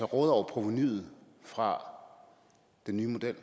råde over provenuet fra den nye model